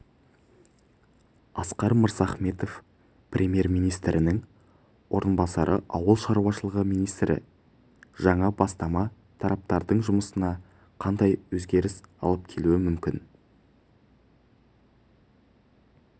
асқар мырзахметов премьер-министрінің орынбасары ауыл шаруашылығы министрі жаңа бастама тараптардың жұмысына қандай өзгеріс алып келуі мүмкін